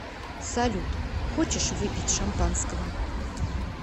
салют хочешь выпить шампанского